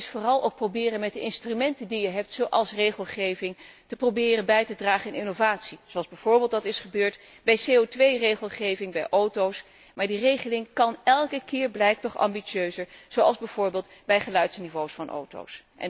Het komt er vooral op aan om met de instrumenten die je hebt, zoals regelgeving, proberen bij te dragen tot innovatie, zoals dat bijvoorbeeld is gebeurd bij CO 2 regelgeving bij auto's. Maar die regeling kan elke keer, blijkt toch, ambitieuzer, zoals bijvoorbeeld bij geluidsniveaus van auto's.